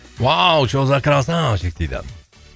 что за красавчик дейді